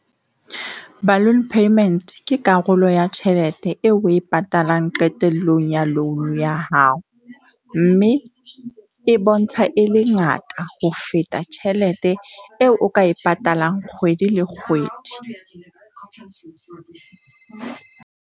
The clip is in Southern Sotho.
Balloon payment ke karolo ya tjhelete eo o e patalang qetellong ya loan ya hao, mme e bontsha e le ngata ho feta tjhelete eo o ka e patalang kgwedi le kgwedi.